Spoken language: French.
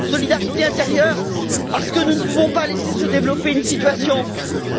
Solidarité intérieure, parce que nous ne pouvons pas laisser se développer une situation